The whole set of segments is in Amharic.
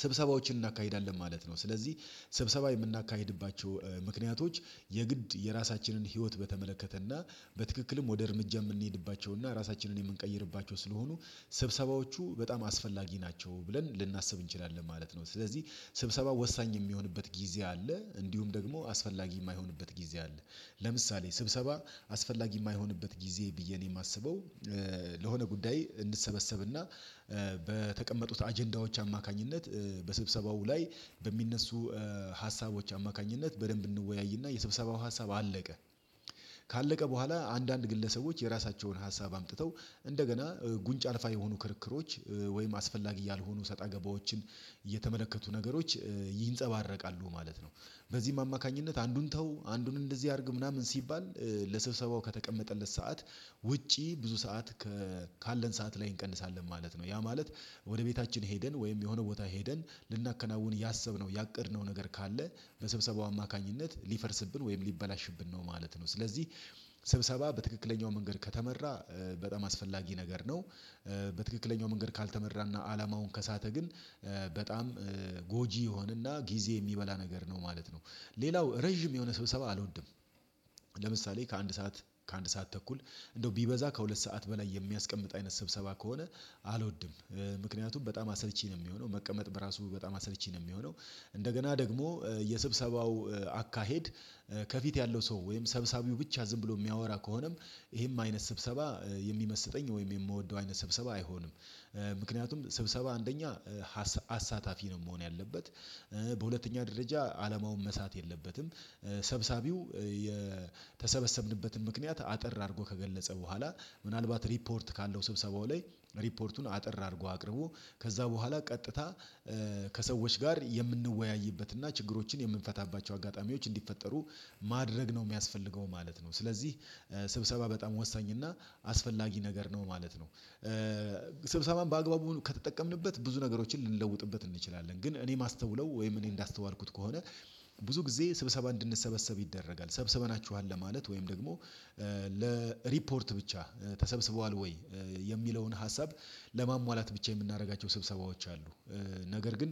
ስብሰባዎችን እናካሂዳለን ማለት ነው። ስለዚህ ስብሰባ የምናካሂድባቸው ምክንያቶች የግድ የራሳችንን ህይወት በተመለከተና በትክክልም ወደ እርምጃ የምንሄድባቸውና ራሳችንን የምንቀይርባቸው ስለሆኑ ስብሰባዎቹ በጣም አስፈላጊ ናቸው ብለን ልናስብ እንችላለን ማለት ነው። ስለዚህ ስብሰባ ወሳኝ የሚሆንበት ጊዜ አለ እንዲሁም ደግሞ አስፈላጊ የማይሆንበት ጊዜ አለ። ለምሳሌ ስብሰባ አስፈላጊ የማይሆንበት ጊዜ ብዬ እኔ የማስበው ለሆነ ጉዳይ እንሰበሰብና በተቀመጡት አጀንዳዎች አማካኝነት በስብሰባው ላይ በሚነሱ ሀሳቦች አማካኝነት በደንብ እንወያይና የሰብሰባው ሀሳብ አለቀ። ካለቀ በኋላ አንዳንድ ግለሰቦች የራሳቸውን ሀሳብ አምጥተው እንደገና ጉንጭ አልፋ የሆኑ ክርክሮች ወይም አስፈላጊ ያልሆኑ ሰጣ ገባዎችን የተመለከቱ ነገሮች ይንጸባረቃሉ ማለት ነው። በዚህም አማካኝነት አንዱን ተው አንዱን እንደዚህ አድርግ ምናምን ሲባል ለስብሰባው ከተቀመጠለት ሰዓት ውጪ ብዙ ሰዓት ከ ካለን ሰዓት ላይ እንቀንሳለን ማለት ነው ያ ማለት። ወደ ቤታችን ሄደን ወይም የሆነ ቦታ ሄደን ልናከናውን ያሰብነው ያቀድነው ነገር ካለ በስብሰባው አማካኝነት ሊፈርስብን ወይም ሊበላሽብን ነው ማለት ነው። ስለዚህ ስብሰባ በትክክለኛው መንገድ ከተመራ በጣም አስፈላጊ ነገር ነው። በትክክለኛው መንገድ ካልተመራና አላማውን ከሳተ ግን በጣም ጎጂ የሆነና ጊዜ የሚበላ ነገር ነው ማለት ነው። ሌላው ረጅም የሆነ ስብሰባ አልወድም። ለምሳሌ ከአንድ ሰዓት ከአንድ ሰዓት ተኩል እንደው ቢበዛ ከሁለት ሰዓት በላይ የሚያስቀምጥ አይነት ስብሰባ ከሆነ አልወድም ምክንያቱም በጣም አሰልች ነው የሚሆነው መቀመጥ በራሱ በጣም አሰልች ነው የሚሆነው እንደገና ደግሞ የስብሰባው አካሄድ ከፊት ያለው ሰው ወይም ሰብሳቢው ብቻ ዝም ብሎ የሚያወራ ከሆነም ይሄም አይነት ስብሰባ የሚመስጠኝ ወይም የምወደው አይነት ስብሰባ አይሆንም። ምክንያቱም ስብሰባ አንደኛ አሳታፊ ነው መሆን ያለበት በሁለተኛ ደረጃ አለማውን መሳት የለበትም። ሰብሳቢው የተሰበሰብንበትን ምክንያት አጠር አድርጎ ከገለጸ በኋላ ምናልባት ሪፖርት ካለው ስብሰባው ላይ ሪፖርቱን አጠር አድርጎ አቅርቦ ከዚያ በኋላ ቀጥታ ከሰዎች ጋር የምንወያይበትና ችግሮችን የምንፈታባቸው አጋጣሚዎች እንዲፈጠሩ ማድረግ ነው የሚያስፈልገው ማለት ነው። ስለዚህ ስብሰባ በጣም ወሳኝ እና አስፈላጊ ነገር ነው ማለት ነው። ስብሰባም በአግባቡ ከተጠቀምንበት ብዙ ነገሮችን ልንለውጥበት እንችላለን ግን እኔ ማስተውለው ወይም እኔ እንዳስተዋልኩት ከሆነ ብዙ ጊዜ ስብሰባ እንድንሰበሰብ ይደረጋል ሰብስበናችኋል ለማለት ወይም ደግሞ ለሪፖርት ብቻ ተሰብስቧል ወይ የሚለውን ሀሳብ ለማሟላት ብቻ የምናደርጋቸው ስብሰባዎች አሉ። ነገር ግን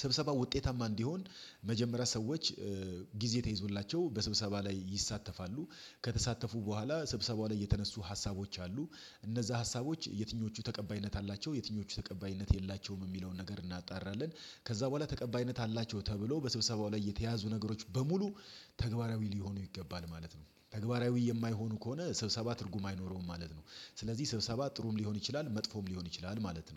ስብሰባ ውጤታማ እንዲሆን መጀመሪያ ሰዎች ጊዜ ተይዞላቸው በስብሰባ ላይ ይሳተፋሉ ከተሳተፉ በኋላ ስብሰባው ላይ የተነሱ ሀሳቦች አሉ እነዚያ ሀሳቦች የትኞቹ ተቀባይነት አላቸው የትኞቹ ተቀባይነት የላቸውም የሚለውን ነገር እናጣራለን ከዚያ በኋላ ተቀባይነት አላቸው ተብሎ በስብሰባው ላይ የተያዙ ነገሮች በሙሉ ተግባራዊ ሊሆኑ ይገባል ማለት ነው ተግባራዊ የማይሆኑ ከሆነ ስብሰባ ትርጉም አይኖረውም ማለት ነው። ስለዚህ ስብሰባ ጥሩም ሊሆን ይችላል መጥፎም ሊሆን ይችላል ማለት ነው